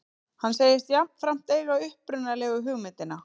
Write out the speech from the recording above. Hann segist jafnframt eiga upprunalegu hugmyndina